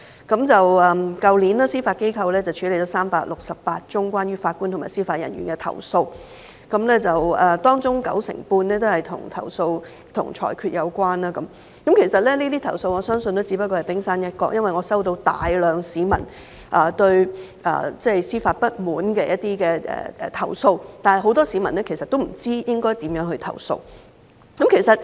去年司法機構處理了368宗關於法官和司法人員的投訴，當中九成半的投訴均與裁決有關，我相信這些投訴只不過是冰山一角，因為我收到大量市民對司法不滿的投訴，但很多市民其實不知可以如何投訴。